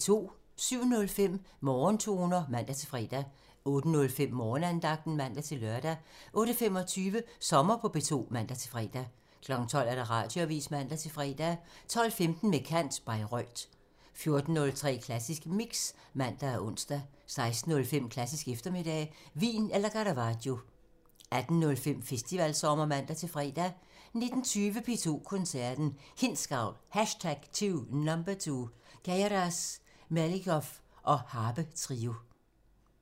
07:05: Morgentoner (man-fre) 08:05: Morgenandagten (man-lør) 08:25: Sommer på P2 (man-fre) 12:00: Radioavisen (man-søn) 12:15: Med kant – Bayreuth 14:03: Klassisk Mix (man og ons) 16:05: Klassisk eftermiddag – Wien eller Caravaggio 18:05: Festivalsommer (man-fre) 19:20: P2 Koncerten – Hindsgavl #2 – Queyras/Melnikov og harpetrio 22:00: Natsværmeren (man-søn)